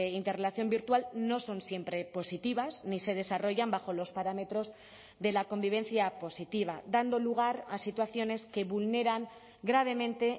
interrelación virtual no son siempre positivas ni se desarrollan bajo los parámetros de la convivencia positiva dando lugar a situaciones que vulneran gravemente